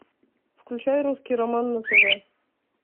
включай русский роман на тв